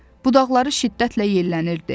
Budaqları şiddətlə yellənirdi.